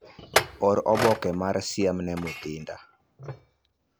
Or oboke mar siem ne Mutinda.